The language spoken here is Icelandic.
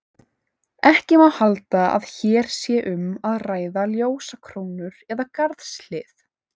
Ekki má halda að hér sé um að ræða ljósakrónur eða garðshlið.